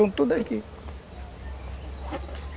Estão todos aqui.